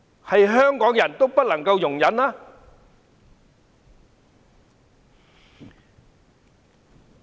但凡香港人，都不能夠容忍。